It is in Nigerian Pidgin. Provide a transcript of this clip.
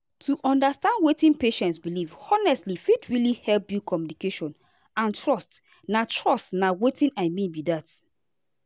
to understand wetin patient believe honestly fit really help build communication and trust na trust na watin i mean be that.